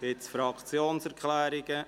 Gibt es Fraktionserklärungen?